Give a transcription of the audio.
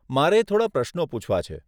મારે થોડાં પ્રશ્નો પૂછવા છે.